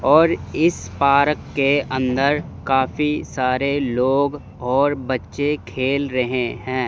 और इस पार्क के अंदर काफी सारे लोग और बच्चे खेल रहे हैं।